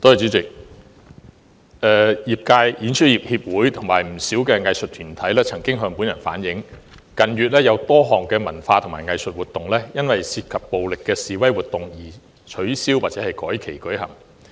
主席，演出業協會及不少藝術團體向本人反映，近月有多項文化及藝術活動因涉及暴力的示威活動而取消或改期舉行。